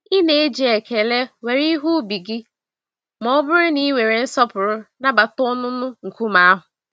Ị na-eji ekele were ihe ubi gị mọbụrụ na ị were nsọpụrụ nabata ọnụnọ nkume ahụ.